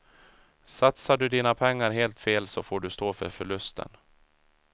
Satsar du dina pengar helt fel så får du stå för förlusten.